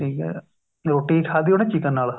ਠੀਕ ਏ ਰੋਟੀ ਖਾਦੀ ਉਹਨੇ chicken ਨਾਲ